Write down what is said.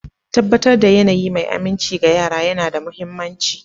Tabbatar da yanayi mai aminci ga yara yana da mahimmanci.